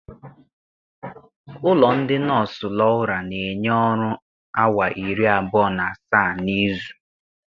Ụlọ ndị nọọsụ Laura na-enye ọrụ awa iri abụọ na asaa n'izu.